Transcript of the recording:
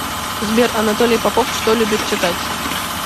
сбер анатолий попов что любит читать